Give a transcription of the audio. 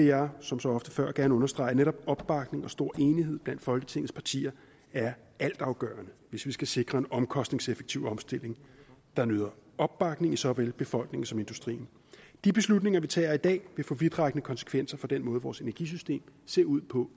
jeg som så ofte før gerne understrege at netop opbakning og stor enighed blandt folketingets partier er altafgørende hvis vi skal sikre en omkostningseffektiv omstilling der nyder opbakning i såvel befolkningen som industrien de beslutninger vi tager i dag vil få vidtrækkende konsekvenser for den måde vores energisystem ser ud på